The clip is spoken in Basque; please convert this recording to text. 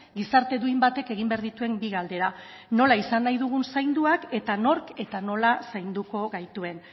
gizarte duin batek egin behar dituen bi galdera nola izan nahi dugun zainduak eta nork eta nola zainduko gaituen